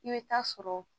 I bɛ taa sɔrɔ